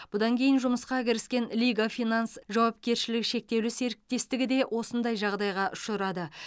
бұдан кейін жұмысқа кіріскен лига финанс жауапкершілігі шектеулі серіктестігі де осындай жағдайға ұшырады